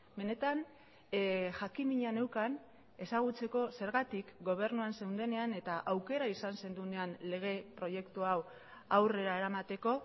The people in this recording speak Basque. benetan jakinmina neukan ezagutzeko zergatik gobernuan zeundenean eta aukera izan zenuenean lege proiektu hau aurrera eramateko